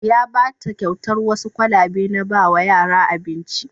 Ya ba ta kyautar wasu kwalabe na ba wa yara abinci.